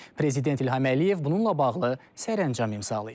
Prezident İlham Əliyev bununla bağlı sərəncam imzalayıb.